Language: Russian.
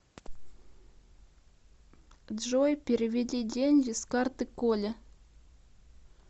джой переведи деньги с карты коле